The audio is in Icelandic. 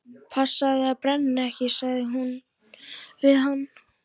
Passaðu þig að brenna þig ekki sagði hún við hann.